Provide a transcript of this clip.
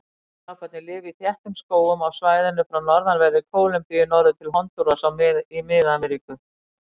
Hettuaparnir lifa í þéttum skógum á svæðinu frá norðanverðri Kólumbíu norður til Hondúras í Mið-Ameríku.